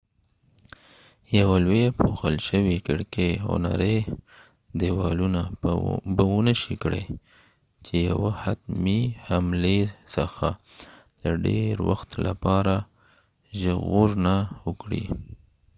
یوه لويه پوښل شوي کړکې او نری ديوالونه به ونشي کړای چې یوه حتمی حملی څخه د ډیر وخت لپاره ژغورنه وکړي